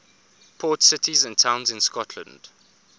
port cities and towns in scotland